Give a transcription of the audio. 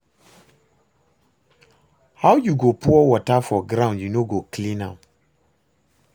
How you go pour water for ground you no go clean am?